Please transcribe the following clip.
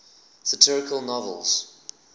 satirical novels